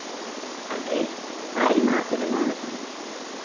Henrý, hvað er í matinn á mánudaginn?